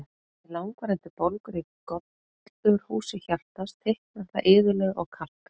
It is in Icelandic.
Við langvarandi bólgur í gollurhúsi hjartans, þykknar það iðulega og kalkar.